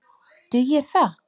Dugir það?